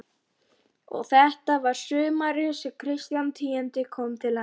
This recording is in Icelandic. Og þetta var sumarið sem Kristján tíundi kom til Íslands.